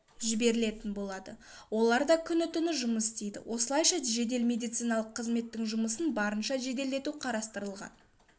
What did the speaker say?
жіберілетін болады олар да күні-түні жұмыс істейді осылайша жедел медициналық қызметтің жұмысын барынша жеделдету қарастырылған